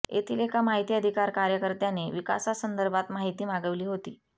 येथील एका माहिती अधिकार कार्यकर्त्याने विकासासंदर्भात माहिती मागविली होती